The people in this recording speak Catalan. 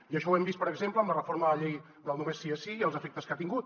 i això ho hem vist per exemple amb la reforma de la llei del només sí és sí i els efectes que ha tingut